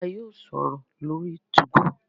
a yóò sọrọ lórí 2go